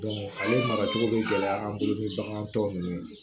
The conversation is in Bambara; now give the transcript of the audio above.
ale mara cogo bɛ gɛlɛya an bolo ni bagan tɔ nunnu